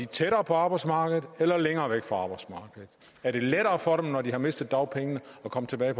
tættere på arbejdsmarkedet eller længere væk fra arbejdsmarkedet er det lettere for dem når de har mistet dagpengene at komme tilbage